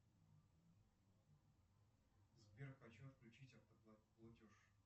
сбер хочу отключить автоплатеж